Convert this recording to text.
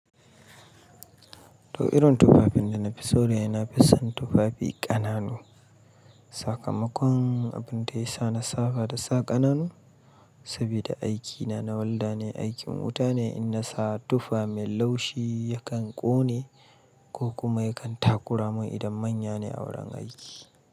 To irin tufafin da na fi so dai na fi son tufafi ƙananu. Sakamakon abin da ya sa na saba da sa ƙananu Sabida aikina na Welder ne, aikin wuta ne. In na sa tufa mai laushi yakan ƙone ko kuma yakan takura mun idan manya ne a wurin aiki.